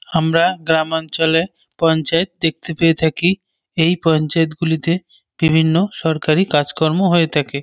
আমরা গ্রামাঞ্চলে পঞ্চায়েত দেখতে পেয়ে থাকি এই পঞ্চায়েত গুলিতে বিভিন্ন সরকারি কাজকর্ম হয়ে থাকে।